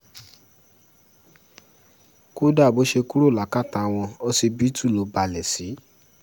kódà bó ṣe kúrò lákàtà wọn ọsibítù ló balẹ̀ sí